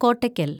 Kottakkal‍